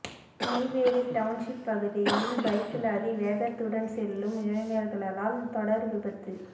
Neyveli township பகுதியில் பைக்கில் அதிவேகத்துடன் செல்லும் இளைஞர்களால் தொடர் விபத்து